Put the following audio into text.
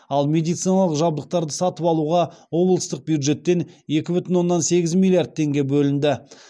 ал медициналық жабдықтарды сатып алуға облыстық бюджеттен екі бүтін оннан сегіз миллиард теңге бөлінді